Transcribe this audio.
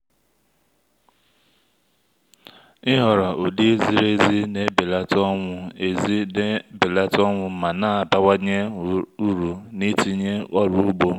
ịhọrọ ụdị ziri ezi na-ebelata ọnwụ ezi na-ebelata ọnwụ ma na-abawanye uru n’itinye ọrụ ugbo.